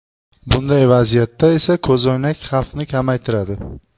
Bunday vaziyatda esa ko‘zoynak xavfni kamaytiradi.